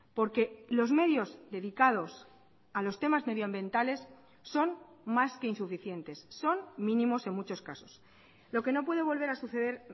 porque los medios dedicados a los temas medioambientales son más que insuficientes son mínimos en muchos casos lo que no puede volver a suceder